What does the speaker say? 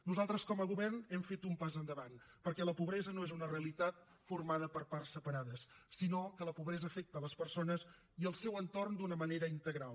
nosaltres com a govern hem fet un pas endavant perquè la pobresa no és una realitat formada per parts separades sinó que la pobresa afecta les persones i el seu entorn d’una manera integral